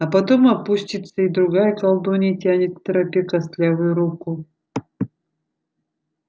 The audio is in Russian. а потом опустится и другая колдунья тянет к тропе костлявую руку